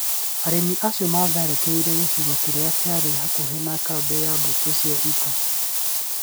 Aremi acio maatharĩkĩire gĩcigo kĩrĩa kĩarĩ hakuhĩ na kambĩ ya mbũtũ cia ita.